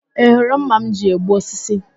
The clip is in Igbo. Ị hụrụ ḿmà m ji egbu osisi?